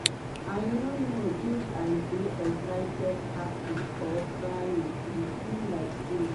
i no know if i dey excited happy or crying e be like dream.